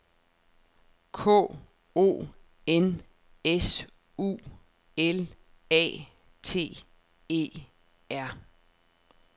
K O N S U L A T E R